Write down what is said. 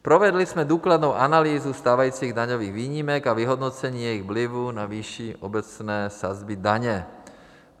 Provedli jsme důkladnou analýzu stávajících daňových výjimek a vyhodnocení jejich vlivu na výši obecné sazby daně.